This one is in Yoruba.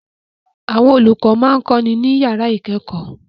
Àwọn olùkọ́ ń kọ́ni ní yàrá ìkẹ́kọ̀ọ́